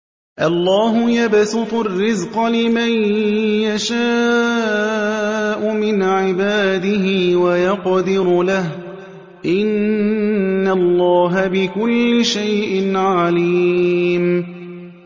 اللَّهُ يَبْسُطُ الرِّزْقَ لِمَن يَشَاءُ مِنْ عِبَادِهِ وَيَقْدِرُ لَهُ ۚ إِنَّ اللَّهَ بِكُلِّ شَيْءٍ عَلِيمٌ